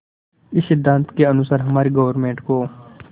इस सिद्धांत के अनुसार हमारी गवर्नमेंट को